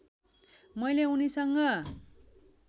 मैले उनीसँग